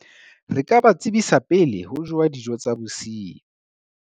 Re ka ba tsebisa pele ho jowa dijo tsa bosiu.